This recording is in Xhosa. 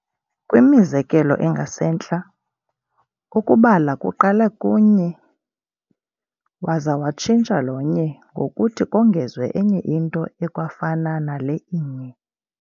Kwimizekelo engasentla, ukubala kuqale ku-nye, waza watshintsha lo-nye ngokuthi kongezwe enye into ekwafana nale inye.